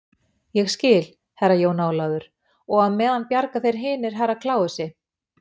Ég skil, Herra Jón Ólafur, og á meðan bjarga þeir hinir Herra Kláusi.